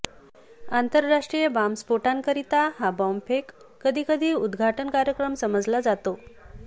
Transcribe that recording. आंतरराष्ट्रीय बॉम्बस्फोटांकरिता हा बॉम्बफेक कधी कधी उद्घाटन कार्यक्रम समजला जातो